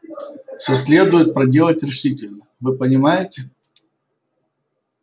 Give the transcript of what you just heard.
всё следует проделать решительно вы понимаете